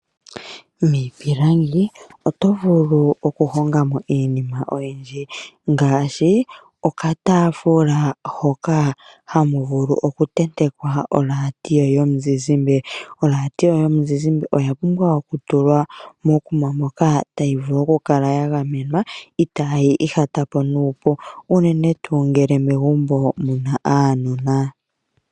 Miipilangi oto vulu okuhonga mo iinima oyindji, ngaashi okataafula hoka haka vulu okutentekwa oradio yomuzizimbe. Oradio yomuzizimbe oya pumbwa okutulwa mokuma moka tayi vulu okukala ya gamenwa, itayi ihatapo nuupu, unene tuu ngele megumbo omuna aanona.